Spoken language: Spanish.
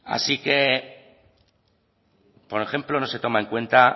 así que por ejemplo no se toma en cuenta